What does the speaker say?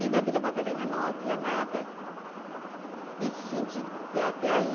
na Vila Madalena não havia nada nesse sentido, porque até aí,